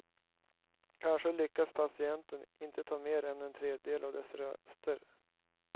Kanske lyckas partiet inte ta mer än en tredjedel av dessa röster.